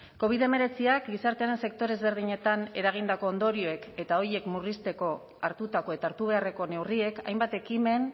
covid hemeretziak gizartearen sektore ezberdinetan eragindako ondorioek eta horiek murrizteko hartutako eta hartu beharreko neurriek hainbat ekimen